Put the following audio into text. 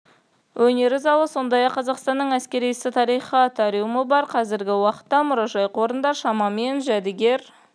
өнері залы сондай-ақ қазақстанның әскери ісі тарихы атриумы бар қазіргі уақытта мұражай қорында шамамен жәдігер